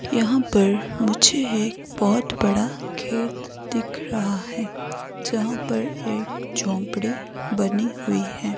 यहां पर मुझे एक बहोत बड़ा खेत दिख रहा है जहां पर एक झोपड़ी बनी हुई है।